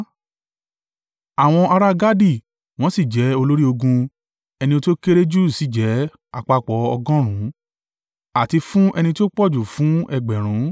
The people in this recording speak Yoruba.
Àwọn ará Gadi wọ́n sì jẹ́ olórí ogun; ẹni tí ó kéré jù sì jẹ́ àpapọ̀ ọgọ́rùn-ún, àti fún ẹni tí ó pọ̀jù fún ẹgbẹ̀rún (1,000).